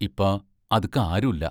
ഇപ്പ അത്ക്ക് ആരുല്ല.